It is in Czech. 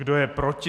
Kdo je proti?